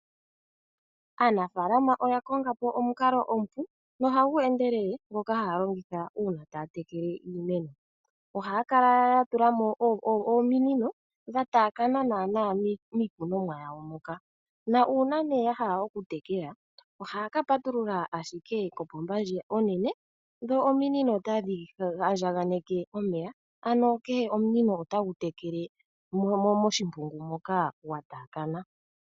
Aanafaalama oya konga po omukalo omupu nohagu endelele ngoka haya longitha uuna taya tekele iimeno, ohaya kala ya tula mo ominino dha taakana naana miikunomwa yawo moka nuuna nee ya hala okutekela ohaya ka patulula ashike kopomba ndji onene dho ominino otadhi andjaganeke omeya ano kehe omunino otagu tekele moshimpungu moka gwa taakana.